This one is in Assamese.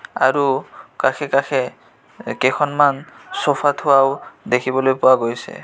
আৰু কাষে কাষে এ কেইখনমান ছ'ফা থোৱাও দেখিবলৈ পোৱা গৈছে.